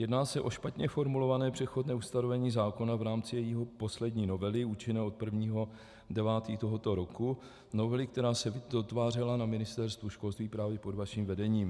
Jedná se o špatně formulované přechodné ustanovení zákona v rámci jeho poslední novely účinné od 1. 9. tohoto roku, novely, která se dotvářela na Ministerstvu školství právě pod vaším vedením.